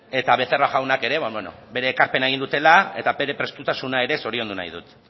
eta becerra jaunak ere bere ekarpena egin dutela eta bere prestutasuna ere zoriondu nahi dut